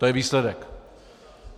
To je výsledek.